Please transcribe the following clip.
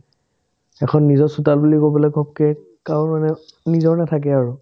এখন নিজৰ চোতাল বুলি ক'বলে ঘপ্কে গাৱৰ মানুহে নিজৰ নাথাকে আৰু